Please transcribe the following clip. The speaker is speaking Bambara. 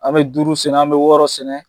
An bɛ duuru sɛnɛ, an bɛ wɔɔrɔ sɛnɛ,